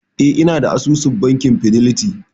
E, inada asusun bankin fidelity.